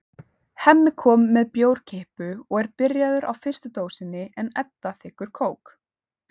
Hemmi kom með bjórkippu og er byrjaður á fyrstu dósinni en Edda þiggur kók.